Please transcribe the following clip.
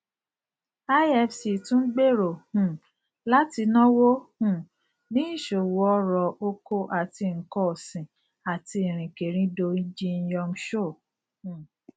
ifc tun gbero um lati nawo um ni isowooro oko ati nkan osin ati irinkerindo jinyong sọ um